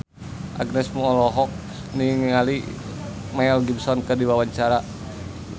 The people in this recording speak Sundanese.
Agnes Mo olohok ningali Mel Gibson keur diwawancara